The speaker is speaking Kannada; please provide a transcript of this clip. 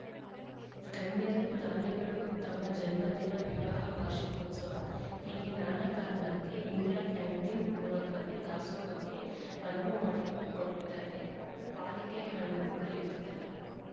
ಗಣ್ಯರು ದಾನಿಗಳು ತಮ್ಮ ಜನ್ಮದಿನ ವಿವಾಹ ವಾರ್ಷಿಕೋತ್ಸವ ಹೀಗೆ ನಾನಾ ಕಾರಣಕ್ಕೆ ಇಂದಿರಾ ಕ್ಯಾಂಟೀನ್‌ ಮೂಲಕವೇ ದಾಸೋಹಕ್ಕೆ ಅನುವು ಮಾಡಿಕೊಟ್ಟರೆ ಪಾಲಿಕೆ ಹಣವೂ ಉಳಿಯುತ್ತದೆ